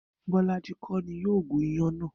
Bó̩lájí kó̩ ni yóò gún iyán náà